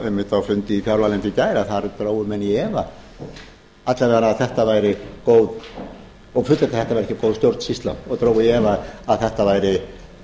einmitt á fjárlaganefndarfundi í gær að þar er þróunin í efa og fullyrt að þetta væri ekki góð stjórnsýsla og dregið í efa að þetta væri